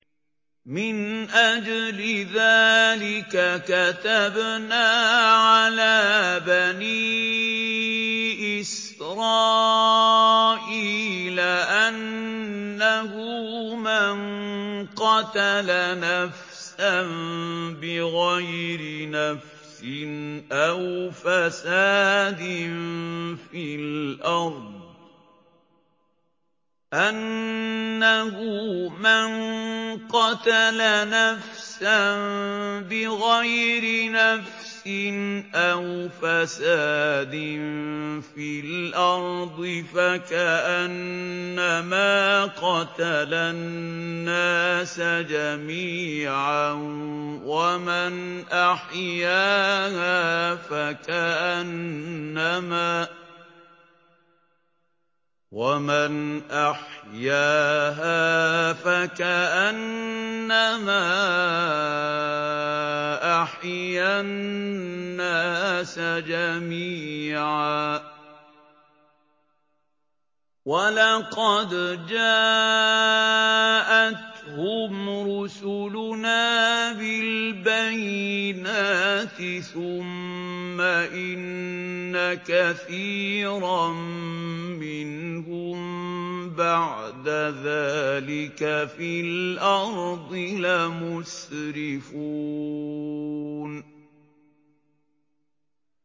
مِنْ أَجْلِ ذَٰلِكَ كَتَبْنَا عَلَىٰ بَنِي إِسْرَائِيلَ أَنَّهُ مَن قَتَلَ نَفْسًا بِغَيْرِ نَفْسٍ أَوْ فَسَادٍ فِي الْأَرْضِ فَكَأَنَّمَا قَتَلَ النَّاسَ جَمِيعًا وَمَنْ أَحْيَاهَا فَكَأَنَّمَا أَحْيَا النَّاسَ جَمِيعًا ۚ وَلَقَدْ جَاءَتْهُمْ رُسُلُنَا بِالْبَيِّنَاتِ ثُمَّ إِنَّ كَثِيرًا مِّنْهُم بَعْدَ ذَٰلِكَ فِي الْأَرْضِ لَمُسْرِفُونَ